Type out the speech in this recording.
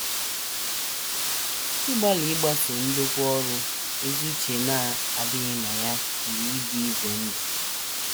Ịgbalị ịgbaso ndokwa ọrụ ezi uche na -- adịghị na ya pụrụ ịdị ize ndụ.